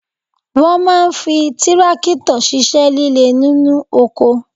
Wọ́n máa ń fi tírákítọ̀ ṣíṣẹ́ líle nínú oko